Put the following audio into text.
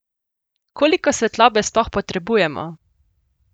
Koliko svetlobe sploh potrebujemo?